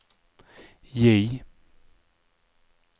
J